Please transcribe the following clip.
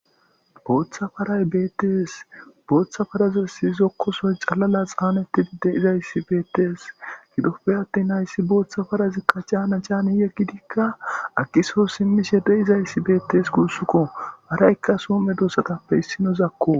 Booththa paray bettes boththa parazassi zookosoy caana caaneti deizayssi bettes giddoppe attin hayssi booththa parazikka caana caani eqqidikka aggi soho simmishe deizayssi bettes guussuko haaraykka soho meddossape issinozakko.